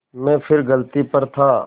मैं फिर गलती पर था